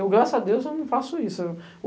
Eu, graças a Deus, não faço isso.